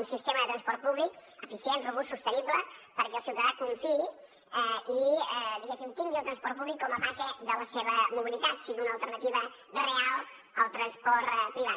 un sistema de transport públic eficient robust sostenible perquè el ciutadà hi confiï i diguéssim tingui el transport públic com a base de la seva mobilitat sigui una alternativa real al transport privat